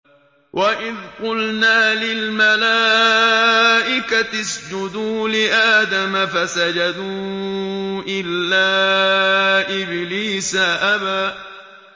وَإِذْ قُلْنَا لِلْمَلَائِكَةِ اسْجُدُوا لِآدَمَ فَسَجَدُوا إِلَّا إِبْلِيسَ أَبَىٰ